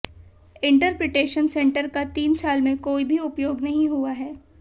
interpretation centre का तीन साल में कोई भी उपयोग नहीं हुआ है